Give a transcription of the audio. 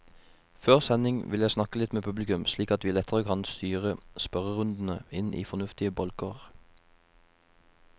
Før sending vil jeg snakke litt med publikum, slik at vi lettere kan styre spørrerundene inn i fornuftige bolker.